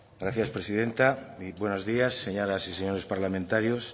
gracias presidenta buenos días señoras y señores parlamentarios